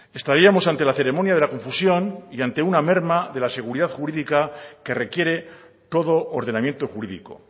estaríamos ante la ceremonia de la confusión y ante una merma de la seguridad jurídica que requiere todo ordenamiento jurídico